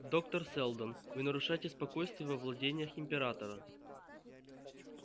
доктор сэлдон вы нарушаете спокойствие во владениях императора